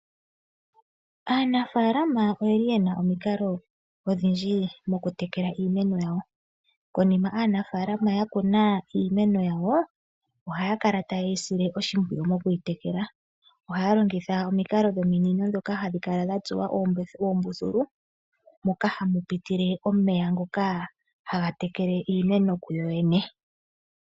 Aanafalama oyeli yena omikalo odhindji okutekela iimeno yawo. Konima aanafalama yakuna iimeno yawo, ohaya kala taye yi sile oshimpwiyu moku yitekela. Ohaya longitha omikalo dhominino ndhoka hadhi kala dhatsuwa uumbuthulu, moka hamu pitile omeya ngoka haga tekele iimeno kuyoyene.